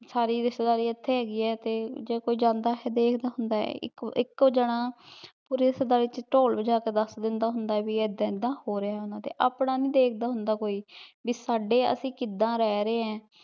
ਸਾਰੀ ਰਿਸ਼੍ਤਾਯ੍ਦਾਰੀ ਏਥੇ ਹੇਗੀ ਆਯ ਜੇ ਕੋਈ ਜਾਂਦਾ ਹੁੰਦਾ ਆਯ ਦੇਖਦਾ ਹੁੰਦਾ ਆਯ ਏਇਕੋ ਏਇਕੋ ਜਾਣਾ ਪੋਰੀ ਰਿਸ਼੍ਤਾਯ੍ਦਾਰੀ ਚ ਧੂਲ ਵਾਜਾ ਕੇ ਦਸ ਦੇਂਦਾ ਹੁੰਦਾ ਆਯ ਭੀ ਏਦਾਂ ਏਦਾਂ ਹੋ ਰਯ ਓਹਨਾ ਦੇ ਆਪਣਾ ਨਾਈ ਦੇਖਦਾ ਹੁੰਦਾ ਭੀ ਸਾਡੇ ਅਸੀਂ ਕਿਦਾਂ ਰਹ ਰੇ ਈਨ